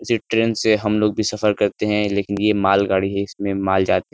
इसी ट्रेन से हम लोग भी सफर करते है लेकिन ये मालगाड़ी है इसमें माल जाता है।